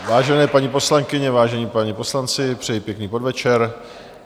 Vážené paní poslankyně, vážení páni poslanci, přejí pěkný podvečer.